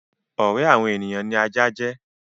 Ọ̀rẹ́ àwọn ènìyàn ni ajá jẹ́.